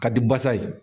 Ka di basa ye